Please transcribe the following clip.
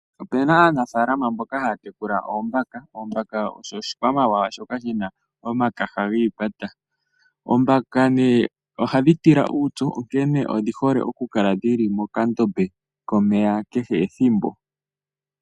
Opuna aanafalama mboka haya tekula oombaaka. Oombaaka osho oshikwamawawa shoka shina omakaha giikwata. Oombaaka phadhi tila uupyu, onkene odhi hole oku kala mokandombe komeya kehe ethimbo.